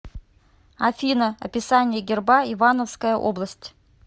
афина описание герба ивановская область